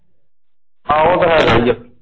ਏਹੋ ਉਹ ਤੇ ਹੈਗਾ ਆ।